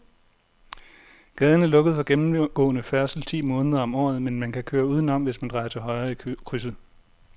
Gaden er lukket for gennemgående færdsel ti måneder om året, men man kan køre udenom, hvis man drejer til højre i krydset.